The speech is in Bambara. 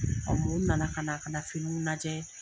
na na ka na kana finiw lajɛ.